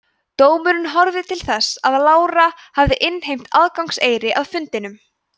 dómurinn horfði til þess að lára hafði innheimt aðgangseyri að fundunum